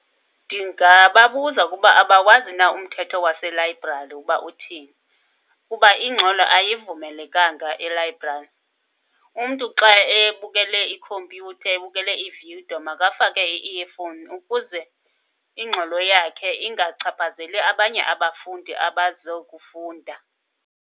Ndingababuza ukuba abawazi na umthetho waselayibrari ukuba uthini. Kuba ingxolo ayivumelekanga elayibrari. Umntu xa ebukele ikhompyutha, ebukele ividiyo, makafake ii-earphone ukuze ingxolo yakhe ingachaphazeli abanye abafundi abazokufunda.